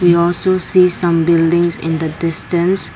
we also see some buildings in the distance.